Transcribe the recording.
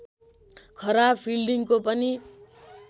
खराब फिल्डिङको पनि